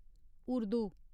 Urdu